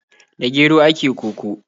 Da gero ake koko.